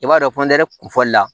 I b'a dɔn kun fɔli la